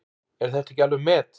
Er þetta ekki alveg met!